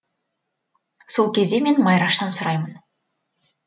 сол кезде мен майраштан сұраймын